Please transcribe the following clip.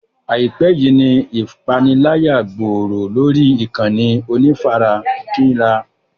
Àìpẹ́ yíì ni ìpániláyà gbòòrò lórí ìkànnì onífarakínra.